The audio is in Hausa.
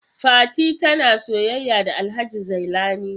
Fati tana soyayya da Alhaji Zailani.